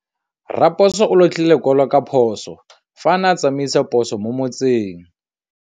Raposo o latlhie lekwalô ka phosô fa a ne a tsamaisa poso mo motseng.